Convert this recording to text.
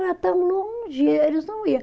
Tão longe, eles não ia